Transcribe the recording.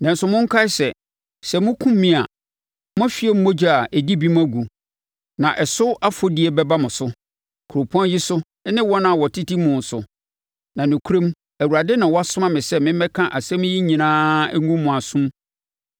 Nanso monkae sɛ, sɛ mokum me a, moahwie mogya a ɛdi bem agu, na ɛso afɔdie bɛba mo so, kuropɔn yi so ne wɔn a wɔtete mu so; na nokorɛm Awurade na wasoma me sɛ memmɛka nsɛm yi nyinaa nnwu mo asom.”